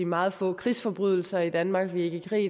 meget få krigsforbrydelser i danmark vi er ikke i krig